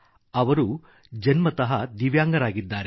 ಅವರು ಜನ್ಮತಃ ದಿವ್ಯಾಂಗರಾಗಿದ್ದಾರೆ